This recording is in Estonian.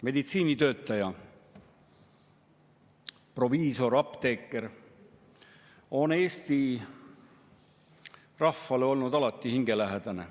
Meditsiinitöötaja, proviisor, apteeker on Eesti rahvale olnud alati hingelähedane.